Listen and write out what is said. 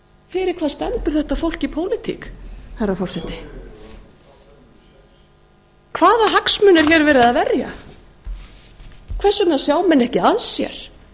fyrir hvað stendur þetta fólk í pólitík herra forseti hvaða hagsmuni er hér verið að verja hvers vegna sjá menn ekki að sér